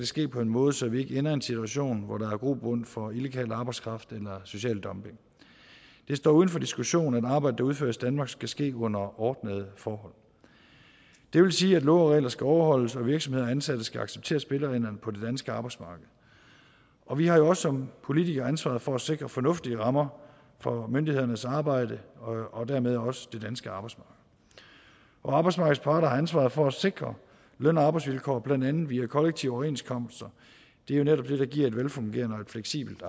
ske på en måde så vi ikke ender i en situation hvor der er grobund for illegal arbejdskraft eller social dumping det står uden for diskussion at arbejde der udføres i danmark skal ske under ordnede forhold det vil sige at love og regler skal overholdes og at virksomheder og ansatte skal acceptere spillereglerne på det danske arbejdsmarked og vi har jo også som politikere ansvaret for at sikre fornuftige rammer for myndighedernes arbejde og dermed også det danske arbejdsmarked arbejdsmarkedets parter har ansvaret for at sikre løn og arbejdsvilkår blandt andet via kollektive overenskomster det er jo netop det der giver et velfungerende og fleksibelt